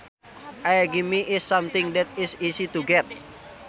A gimme is something that is easy to get